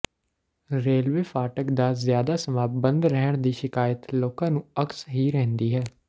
railway ਫਾਟਕ ਦਾ ਜ਼ਿਆਦਾ ਸਮਾ ਬੰਦ ਰਹਿਣ ਦੀ ਸ਼ਿਕਾਇਤ ਲੋਕਾਂ ਨੂੰ ਅਕਸ ਹੀ ਰਹਿੰਦੀ ਹੈ